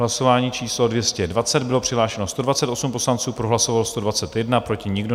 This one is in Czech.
Hlasování číslo 220, bylo přihlášeno 128 poslanců, pro hlasovalo 121, proti nikdo.